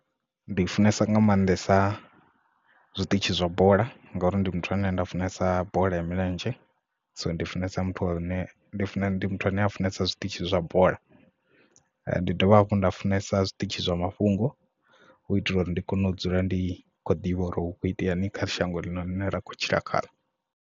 Ndi funesa nga maanḓesa zwiṱitshi zwa bola ngauri ndi muthu ane nda funesa bola ya milenzhe so ndi funesa muthu a lune ndi funa ndi muthu ane a funesa zwiṱitshi zwa bola ndi dovha hafhu nda funesa zwiṱitshi zwa mafhungo hu itela uri ndi kone u dzula ndi khou ḓivha uri hu kho itea mini kha shango ḽine ra khou tshila khaḽo.